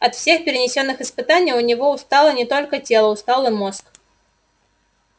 от всех перенесённых испытаний у него устало не только тело устал и мозг